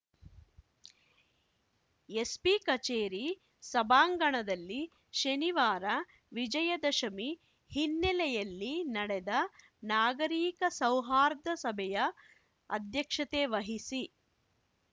SP ಕಚೇರಿ ಸಭಾಂಗಣದಲ್ಲಿ ಶನಿವಾರ ವಿಜಯದಶಮಿ ಹಿನ್ನೆಲೆಯಲ್ಲಿ ನಡೆದ ನಾಗರಿಕ ಸೌಹಾರ್ದ ಸಭೆಯ ಅಧ್ಯಕ್ಷತೆ ವಹಿಸಿ